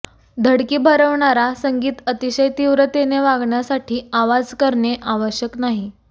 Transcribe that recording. धडकी भरवणारा संगीत अतिशय तीव्रतेने वागण्यासाठी आवाज करणे आवश्यक नाही